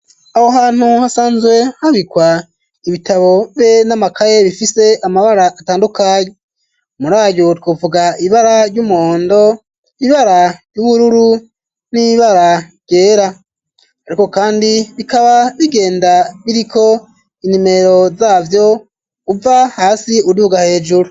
Aho hantu hasanzwe habikwa ibitabo be n'amakaye, bifise amabara atandukanye. Muri ayo twovuga ibara ry'umuhondo, ibara ry'ubururu n'ibara ryera. Ariko kandi bikaba bigenda biriko inimero zavyo, uva hasi uduga hejuru.